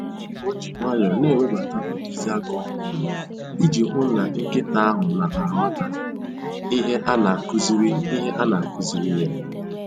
O ji nwayọọ na-ewebata ntụziaka ọhụrụ iji hụ na nkịta ahụ na-aghọta ihe a na-akụziri ihe a na-akụziri ya